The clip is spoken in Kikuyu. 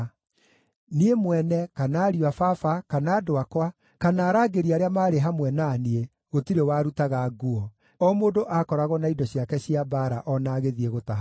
Niĩ mwene, kana ariũ a baba, kana andũ akwa, kana arangĩri arĩa maarĩ hamwe na niĩ gũtirĩ warutaga nguo; o mũndũ aakoragwo na indo ciake cia mbaara o na agĩthiĩ gũtaha maaĩ.